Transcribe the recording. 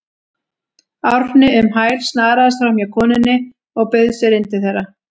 Árni um hæl, snaraðist framhjá konunni og bauð sér inn til þeirra.